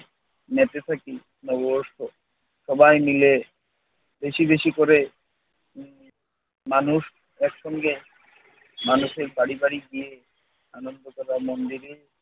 মেসে থাকি। নববর্ষ সবাই মিলে বেশি বেশি করে উম মানুষ একসঙ্গে মানুষের বাড়ি গিয়ে আনন্দ করা মন্দিরের